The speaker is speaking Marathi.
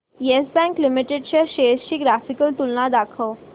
येस बँक लिमिटेड च्या शेअर्स ची ग्राफिकल तुलना दाखव